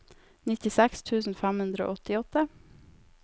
nittiseks tusen fem hundre og åttiåtte